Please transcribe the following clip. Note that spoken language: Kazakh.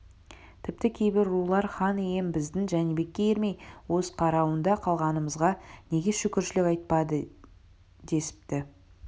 тіпті кейбір рулар хан ием біздің жәнібекке ермей өз қарауында қалғанымызға неге шүкіршілік айтпайды десіпті